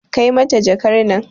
Kai mata jakar nan